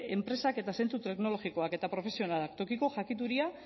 enpresak eta zentzu teknologikoak eta profesionalak tokiko jakituria